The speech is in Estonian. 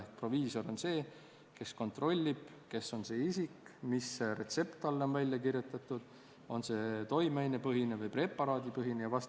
Ehk proviisor on see, kes kontrollib, kes on see isik, mis retsept talle on välja kirjutatud, on see toimeainepõhine või preparaadipõhine jne.